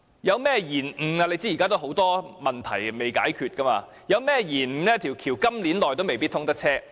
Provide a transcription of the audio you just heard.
大家也知道，現時有很多問題是仍未解決的，一旦出現延誤，在今年也未必可以通車。